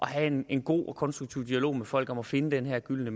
have en en god og konstruktiv dialog med folk om at finde den her gyldne